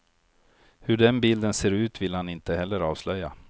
Hur den bilden ser ut vill han inte heller avslöja.